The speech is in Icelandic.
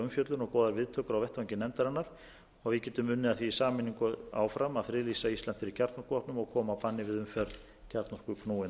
umfjöllun og góðar viðtökur á vettvangi nefndarinnar og við getum unnið að því í sameiningu áfram að friðlýsa ísland fyrir kjarnorkuvopnum og